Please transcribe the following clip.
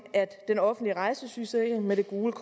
at den offentlige rejsesygesikring med det gule